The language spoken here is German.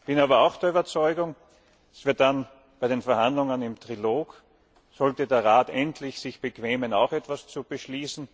Ich bin aber auch der Überzeugung, dass wir dann bei den Verhandlungen im Trilog sollte der Rat sich endlich bequemen, auch etwas zu beschließen